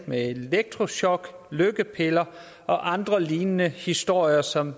med elektrochok lykkepiller og andre lignende historier som